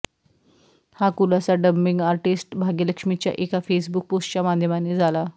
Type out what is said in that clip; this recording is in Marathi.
हा खुलासा डबिंग आर्टिस्ट भाग्यलक्ष्मीच्या एका फेसबुक पोस्टच्या माध्यमाने झाला